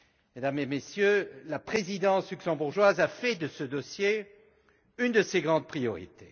Mesdames et Messieurs, la présidence luxembourgeoise a fait de ce dossier une de ses grandes priorités.